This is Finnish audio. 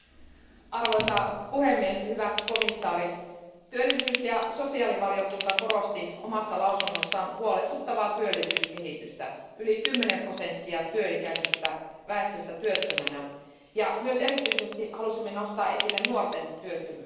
Arvoisa puhemies, hyvä komission jäsen, työllisyys ja sosiaalivaliokunta korosti omassa lausunnossaan huolestuttavaa työllisyyskehitystä, sillä yli 10 prosenttia työikäisestä väestöstä työttömänä, ja erityisesti halusimme nostaa esille nuorten työttömyyden.